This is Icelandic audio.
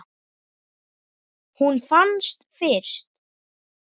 Hún fannst fyrst.